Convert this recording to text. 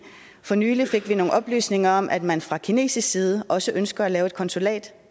for nylig fik vi nogle oplysninger om at man fra kinesisk side også ønsker at lave et konsulat